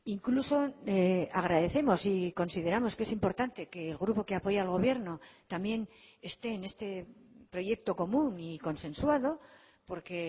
incluso agradecemos y consideramos que es importante que el grupo que apoya al gobierno también esté en este proyecto común y consensuado porque